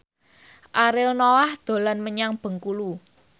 Ariel Noah dolan menyang Bengkulu